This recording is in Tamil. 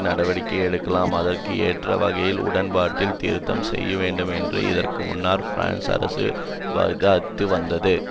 நடவடிக்கை எடுக்கலாம் அதற்கு ஏற்ற வகையில் உடன்பாட்டில் திருத்தம் செய்யவேண்டுமென்று இதற்கு முன்னர் பிரான்ஸ் அரசு விவாதித்து வந்தது